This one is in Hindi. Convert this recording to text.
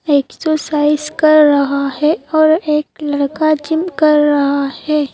एक्सरसाइज कर रहा है और एक लड़का जिम कर रहा है।